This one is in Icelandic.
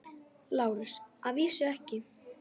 LÁRUS: Að vísu ekki.